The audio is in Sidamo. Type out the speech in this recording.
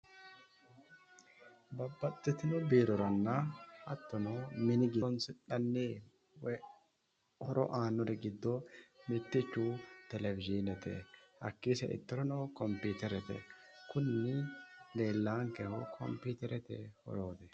babbaxxitino biiroranna hattono mini giddo horonsi'nanni woyi horo aannori giddo mittichu televizhiinete hakkii sa"ittorono kompiiterete kuni leellaankehu kompiiterete horooti